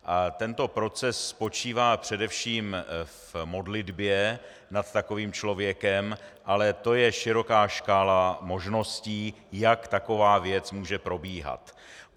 Tento proces spočívá především v modlitbě nad takovým člověkem, ale to je široká škála možností, jak taková věc může probíhat.